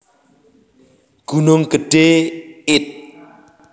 Gunung Gedhé id